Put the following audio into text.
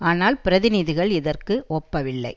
ஆனால் பிரதிநிதிகள் இதற்கு ஒப்பவில்லை